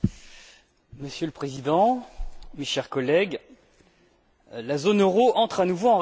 Monsieur le Président, chers collègues, la zone euro entre à nouveau en récession.